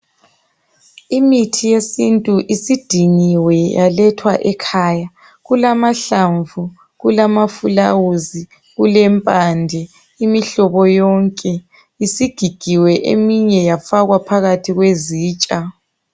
Imithi yesintu isidingiwe yaletgwa ekhaya kulamahlamvu kulama fulawuzi kulempande imihlobo yonke isigigiwe eminye yafakwa phakathi kwezitsha